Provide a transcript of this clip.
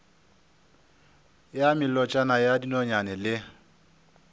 ya melotšana ya dinonyane le